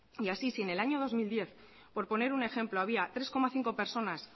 y así si en el año dos mil diez por poner un ejemplo había tres coma cinco personas